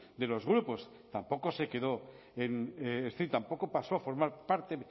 de los grupos tampoco se quedó en y tampoco pasó a formar parte